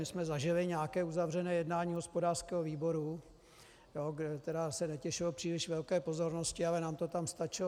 My jsme zažili nějaké uzavřené jednání hospodářského výboru, které se netěšilo příliš velké pozornosti, ale nám to tam stačilo.